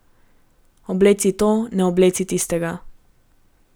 Obleci to, ne obleci tistega.